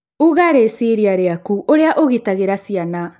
uga rĩciria rĩaku ũrĩa ũgitagĩra ciana